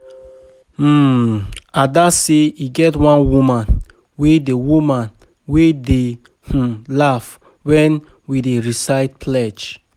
um Ada say e get one woman wey dey woman wey dey um laugh wen we dey recite pledge